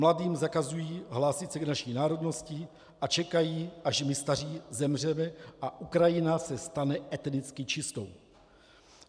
Mladým zakazují hlásit se k naší národnosti a čekají, až my staří zemřeme a Ukrajina se stane etnicky čistou.